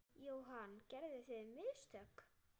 Jóhann: Gerðuð þið mistök?